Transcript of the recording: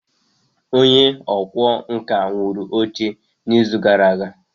Onye ọkwá nkà wuru oche n'izu gara aga?